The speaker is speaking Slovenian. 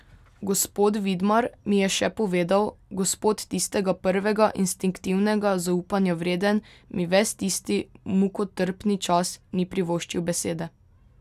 Gospod Vidmar, mi je še povedal gospod tistega prvega instinktivnega zaupanja vreden, mi ves tisti mukotrpni čas ni privoščil besede.